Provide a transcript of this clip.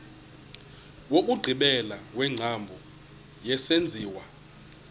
wokugqibela wengcambu yesenziwa